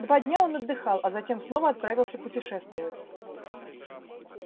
два дня он отдыхал а затем снова отправился путешествовать